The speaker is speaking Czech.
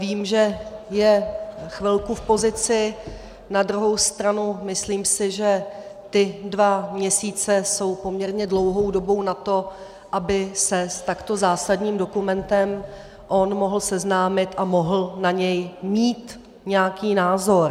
Vím, že je chvilku v pozici, na druhou stranu si myslím, že ty dva měsíce jsou poměrně dlouhou dobou na to, aby se s takto zásadním dokumentem on mohl seznámit a mohl na něj mít nějaký názor.